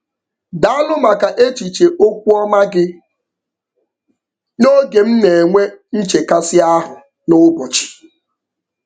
Daalụ maka echiche okwu ọma gị n'oge m na-enwe nchekasị ahụ n'ụbọchị.